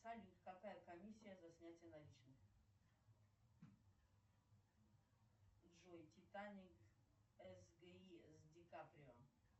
салют какая комиссия за снятие наличных джой титаник сги с ди каприо